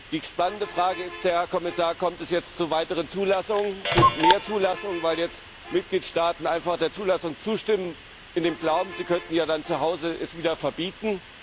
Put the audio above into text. Die spannende Frage ist, Herr Kommissar Kommt es jetzt zu weiteren Zulassungen, zu mehr Zulassungen, weil jetzt Mitgliedstaaten einfach der Zulassung zustimmen in dem Glauben, sie könnten es ja dann zu Hause wieder verbieten?